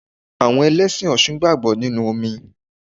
Àwọn Ẹlẹ́sìn ọṣun gbàgbọ́ nínú omi.